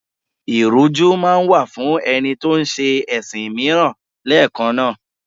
Ìrújú máa wà fún ẹni tó ń ṣẹ ẹ̀sìn mìíràn lẹ́ẹ̀kan náà.